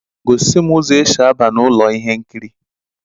Gosi m uzo esi ábà n'ụlọ ihe nkiri!